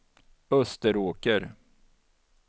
Österåker